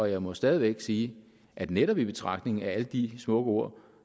jeg må stadig væk sige at netop i betragtning af alle de smukke ord